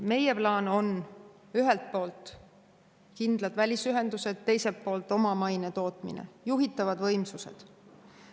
Meie plaan on ühelt poolt kindlad välisühendused, teiselt poolt omamaine tootmine, juhitavad võimsused.